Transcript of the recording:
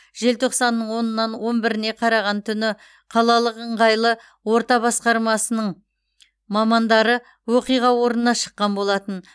желтоқсанның онынан он біріне қараған түні қалалық ыңғайлы орта басқармасының мамандары оқиға орнына шыққан болатын